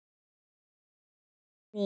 Samt er hún ný.